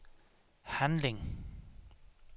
handling